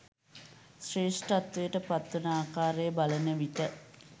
ශ්‍රේෂ්ඨත්වයට පත්වන ආකාරය බලන විට